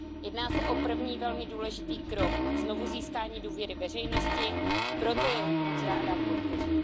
Jedná se o první velmi důležitý krok k znovuzískání důvěry veřejnosti, proto jej moc ráda podpořím.